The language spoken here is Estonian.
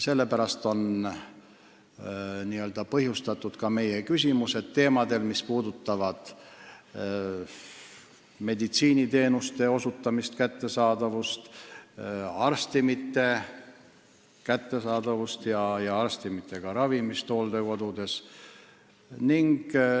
Sellest on tingitud ka meie küsimused teemadel, mis puudutavad meditsiiniteenuste osutamist ning arstimite kättesaadavust ja inimeste ravimist hooldekodudes.